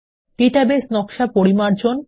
database নকশা পরিমার্জন